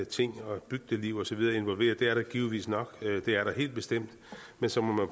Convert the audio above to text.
ting og bygdliv og så videre involveret og det er der helt bestemt men så må